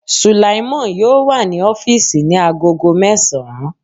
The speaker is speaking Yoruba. Sulaimon yóò wà ní ọ́físì ní agogo mẹ́sàn-án